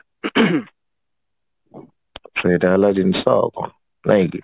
ସେଇଟା ହେଲା ଜିନିଷ ଆଉ କଣ ନାଇଁ କି